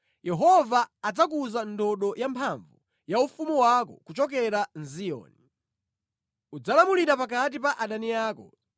Yehova adzakuza ndodo yamphamvu ya ufumu wako kuchokera mʼZiyoni; udzalamulira pakati pa adani ako.